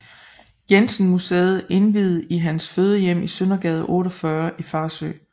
Jensen Museet indviet i hans fødehjem i Søndergade 48 i Farsø